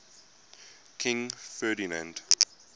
king ferdinand